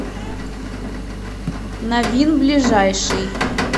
новин ближайший